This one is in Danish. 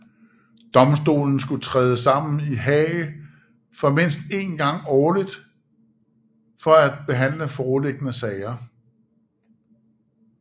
Domstolen skulle træde sammen i Haag mindst en gang årlig for at behandle foreliggende sager